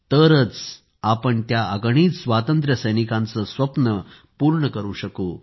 तरच आपण त्या अगणित स्वातंत्र्य सैनिकांचे स्वप्न पूर्ण करु शकू